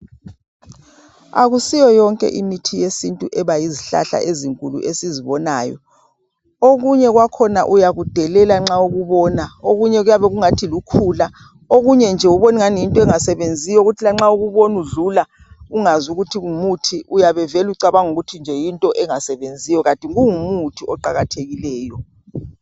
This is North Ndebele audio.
Akusiyo yonke imithi yesintu ebayizihlahla ezinkulu esizibonayo. Okunye kwakhona uyakudelela nxa ukubona. Okunye kuyabe kungathi lukhula, okunye nje ubone angathi yinti. engasebenziyo kuthi lanxa ukubona udlula ungazi ukuthi ngumuthi uyabe vele ucabanga ukuthi yintinengasebenziyo kanti kungumuthi oqakathekileyo.